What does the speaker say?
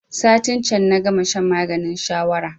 Satin can na gama shan maganin shawara